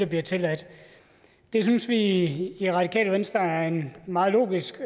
bliver tilladt det synes vi i i radikale venstre er en meget logisk